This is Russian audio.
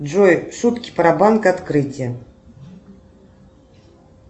джой шутки про банк открытие